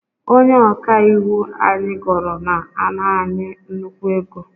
Onye ọka iwu anyị goro na-ana anyị nnukwu ego